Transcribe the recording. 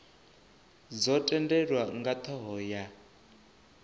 dzo tendelwa nga thoho ya